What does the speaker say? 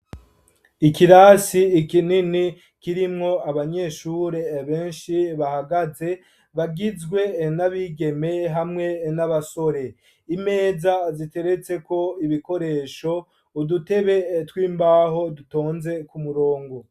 Ikirasi ikinini, kirimwo abanyeshure benshi, bahagaze, bagizwe n'abigeme, hamwe n'abasore; imeza ziteretseko ibikoresho, udutebe tw'imbaho, dutonze ku murongo.